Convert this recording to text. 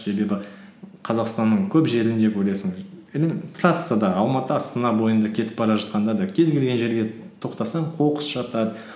себебі қазақстанның көп жерінде көресің трассада алматы астана бойында кетіп бара жатқанда да кез келген жерге тоқтасаң қоқыс жатады